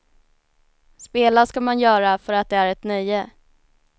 Spela ska man göra för att det är ett nöje.